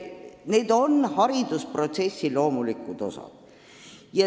Need on haridusprotsessi loomulikud osad.